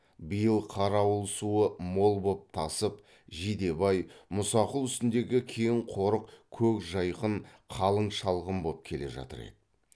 биыл қарауыл суы мол боп тасып жидебай мұсақұл үстіндегі кең қорық көк жайқын қалың шалғын боп келе жатыр еді